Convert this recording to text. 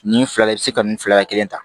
Nin fila i bɛ se ka nin fila kelen ta